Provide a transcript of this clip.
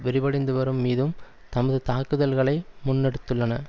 விரிவடைந்துவரும் மீதும் தமது தாக்குதல்களை முன்னெடுத்துள்ளன